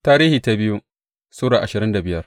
biyu Tarihi Sura ashirin da biyar